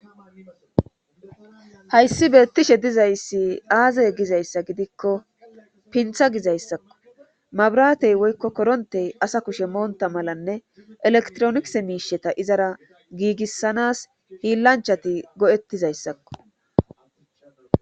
Hayssi beettishe dizayssi aaze gizayssa gidikko pinththa gizayssakko mabratey woykko korontey asa kushe moonta malanne elektronikisse miishshata izara giigissanas hiillanchchati go'ettizayssakko